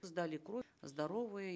сдали кровь здоровые